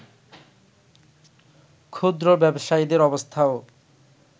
ক্ষুদ্র ব্যবসায়ীদের অবস্থাও